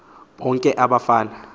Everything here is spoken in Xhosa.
bonke aba bafana